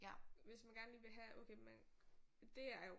Hvis man gerne lige vil have okay man det er jo